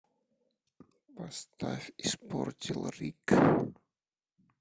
поставь испортил рик